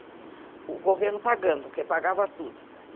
O governo pagando, porque pagava tudo.